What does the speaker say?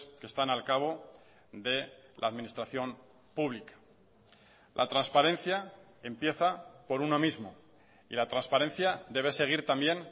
que están al cabo de la administración pública la transparencia empieza por uno mismo y la transparencia debe seguir también